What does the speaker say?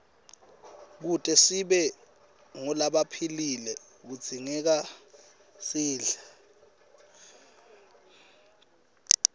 kute sibe ngulabaphilile kudzingekasidle